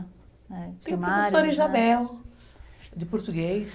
Tem a professora Isabel, de português.